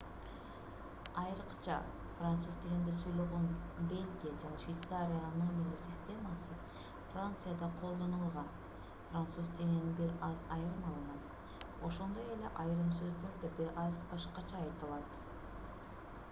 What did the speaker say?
айрыкча француз тилинде сүйлөгөн бельгия жана швейцариянын номерлер системасы францияда колдонулган француз тилинен бир аз айырмаланат ошондой эле айрым сөздөр да бир аз башкача айтылат